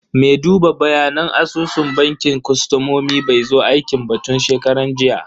Me duba bayanan asusun bankin kostomomi bai zo aiki ba tun shekaran jiya.